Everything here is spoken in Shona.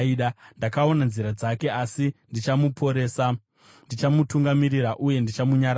Ndakaona nzira dzake, asi ndichamuporesa; ndichamutungamirira uye ndichamunyaradza,